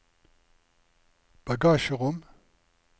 bagasjerom